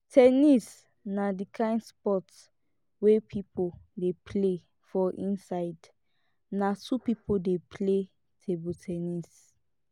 ten nis na di kind sport wey pipo dey play for inside na two pipo dey play table ten nis